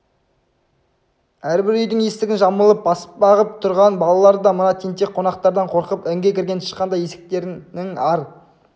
әрбір үйдің есігін жамылып баспа ғып тұрған балалар да мына тентек қонақтардан қорқып інге кірген тышқандай есіктерінің ар